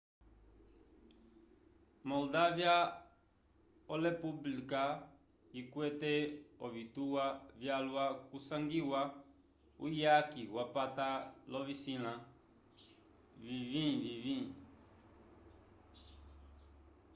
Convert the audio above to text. moldavya olepublika ikwete ovituwa vyalwa kusangiwa uyaki wapata l'ovisila viñgi-viñgi